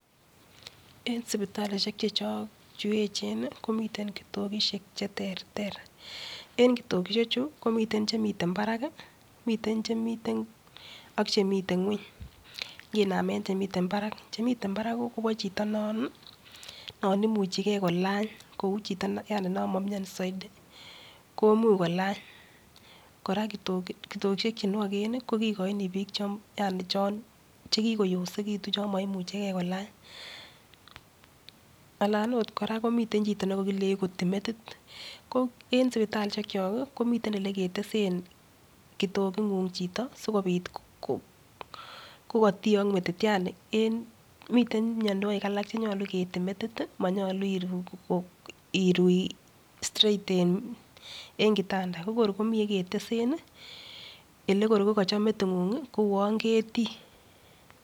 En sipitalishek chechok, chu echen komiten kitokushek che terter. En kitokishechu komiten che miten barak, miten , ak che miten ng'weny. Nginamen che. iten barak. Che miten barak kobo chito non, imuchigei kolany, kou chito yani non ma mioni saiti, komuch kolany. Kitokishek chenwoken kobo biik yani chon kikoyosekitu, chon moimuchegei kolany. Alan agot kora komitei chito ne nyolu kotei metit, ko en sipitalishekchok, komiten ole ketesen kitogung'ung chito sikobit kokatiok metit. Yani miten mianwek alk che che keetei metit, manyolu iru staight en kitanda. Ko kor nyeketesen ekekor ko kachop meting'ung koun ketiii.